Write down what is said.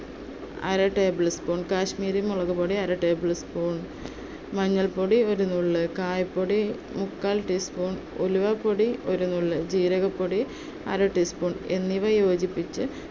അര tablespoon, കാശ്മീരി മുളകുപൊടി അര tablespoon, മഞ്ഞൾപൊടി ഒരു നുള്ള്. കായപൊടി മുക്കാൽ teaspoon, ഉലുവാപ്പൊടി ഒരു നുള്ള്, ജീരകപ്പൊടി അര teaspoon എന്നിവ യോജിപ്പിച്ച്